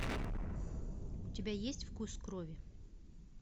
у тебя есть вкус крови